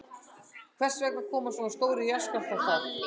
Hvers vegna koma svona stórir jarðskjálftar þar?